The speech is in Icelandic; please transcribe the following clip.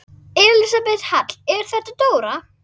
Elísabet Hall: Er þetta dóra?